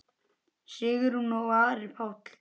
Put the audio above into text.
Sigrún og Ari Páll.